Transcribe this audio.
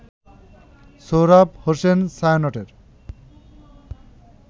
Sohrab Hossain ছায়ানটের